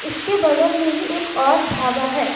इसके बगल में ही एक और ढाबा है।